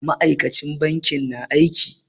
Ma'aikacin bankin na aiki.